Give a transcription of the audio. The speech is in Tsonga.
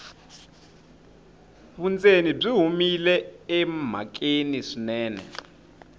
vundzeni byi humile emhakeni swinene